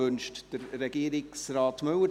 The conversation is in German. Wünscht Regierungsrat Müller